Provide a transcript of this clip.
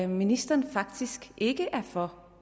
ministeren faktisk ikke er for